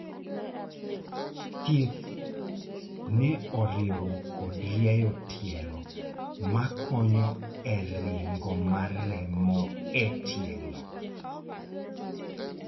thieth ne oriwo kod rieyo tielo makonyo e ringo mar remo e tielo